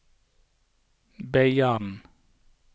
Beiarn